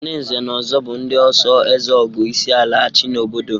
Ndị nze na ọzọ bụ ndị oso ezeogo isiala achị n'obodo.